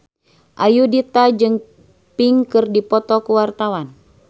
Ayudhita jeung Pink keur dipoto ku wartawan